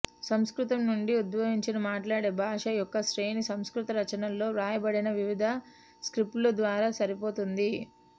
సంస్కృతం నుండి ఉద్భవించిన మాట్లాడే భాషల యొక్క శ్రేణి సంస్కృత రచనలో వ్రాయబడిన వివిధ స్క్రిప్ట్ల ద్వారా సరిపోతుంది